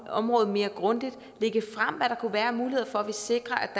område mere grundigt lægge frem hvad der kunne være af muligheder for at sikre